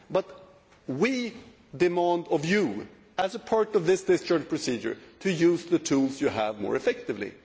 But we demand of you, as a part of this discharge procedure, to use the tools you have more effectively.